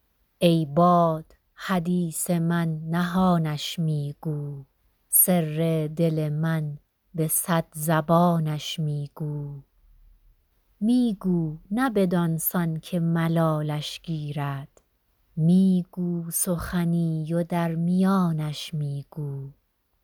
ای باد حدیث من نهانش می گو سر دل من به صد زبانش می گو می گو نه بدان سان که ملالش گیرد می گو سخنی و در میانش می گو